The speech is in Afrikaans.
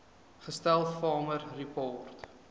gestel farmer support